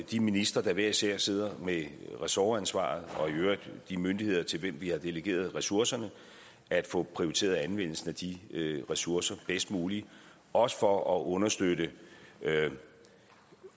de ministre der hver især sidder med ressortansvaret og i øvrigt de myndigheder til hvem vi har delegeret ressourcerne at få prioriteret anvendelsen af de ressourcer bedst muligt også for at understøtte